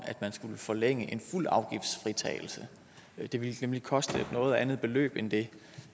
at skulle forlænge en fuld afgiftsfritagelse det ville nemlig koste et noget andet beløb end det